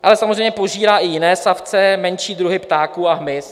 "Ale samozřejmě požírá i jiné savce, menší druhy ptáků a hmyz."